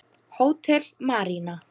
Hótel Marína.